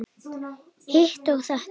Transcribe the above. Hitt og þetta.